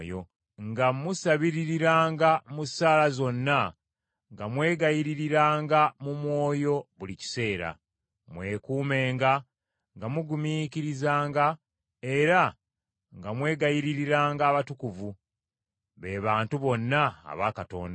nga musabiririranga mu ssaala zonna nga mwegayiririranga mu mwoyo buli kiseera. Mwekuumenga nga mugumiikirizanga, era nga mwegayiririranga abatukuvu, be bantu bonna aba Katonda.